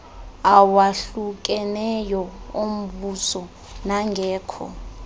awahlukeneyo ombuso nangekho